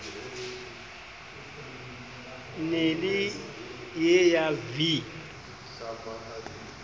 ne e le ya v